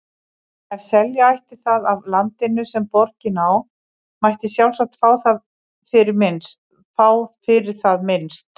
Ef selja ætti það af landinu, sem borgin á, mætti sjálfsagt fá fyrir það minnst